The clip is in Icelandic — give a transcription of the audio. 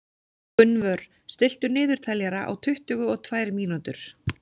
Gunnvör, stilltu niðurteljara á tuttugu og tvær mínútur.